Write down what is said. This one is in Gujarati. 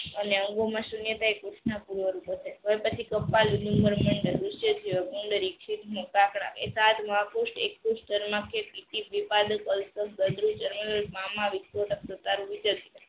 અને અંગો માં સૂન્ય થાઈ રીક્ષિત મ કાકરા એક પુસ્થ